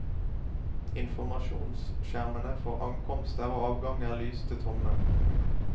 Informasjonsskjermene for ankomster og avganger lyste tomme.